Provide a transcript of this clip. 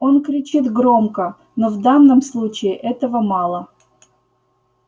он кричит громко но в данном случае этого мало